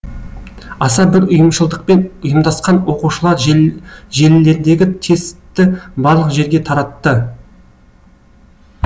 аса бір ұйымшылдықпен ұйымдасқан оқушылар желілердегі тестті барлық жерге таратты